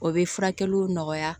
O bɛ furakɛliw nɔgɔya